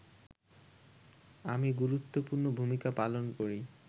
আমি গুরুত্বপূর্ণ ভূমিকা পালন করি